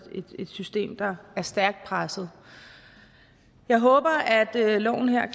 system der er stærkt presset jeg håber at loven